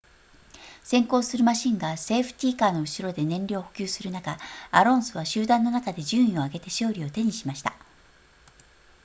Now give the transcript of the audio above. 先行するマシンがセーフティカーの後ろで燃料を補給する中アロンソは集団の中で順位を上げて勝利を手にしました